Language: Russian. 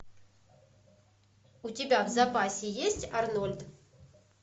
у тебя в запасе есть арнольд